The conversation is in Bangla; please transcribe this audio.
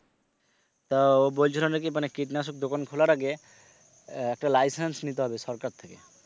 তো ও বলছিল নাকি মানে কীটনাশক দোকান খোলার আগে আহ একটা licence নিতে হবে সরকার থেকে।